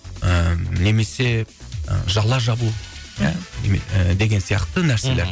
ыыы немесе жала жабу ы деген сияқты нәрселелер мхм